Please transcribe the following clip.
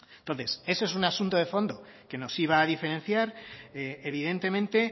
entonces ese es un asunto de fondo que nos iba a diferenciar evidentemente